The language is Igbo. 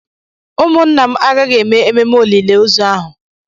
Ụmụnna m agaghị eme ememe olili ozu ahụ.